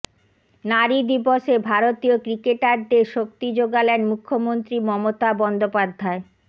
নারী দিবসে ভারতীয় ক্রিকেটারদের শক্তি জোগালেন মুখ্যমন্ত্রী মমতা বন্দ্যোপাধ্যায়